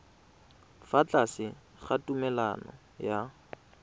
fa tlase ga tumalano ya